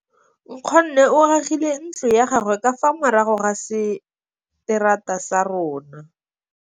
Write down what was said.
Nkgonne o agile ntlo ya gagwe ka fa morago ga seterata sa rona.